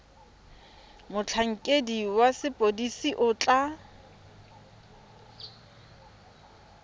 motlhankedi wa sepodisi o tla